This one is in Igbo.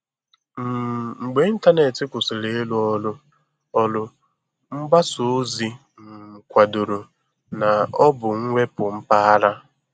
um Mgbe ịntanetị kwụsịrị ịrụ ọrụ, ọrụ, mgbasa ozi um kwadoro na ọ bụ mwepu mpaghara.